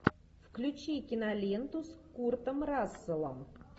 включи киноленту с куртом расселом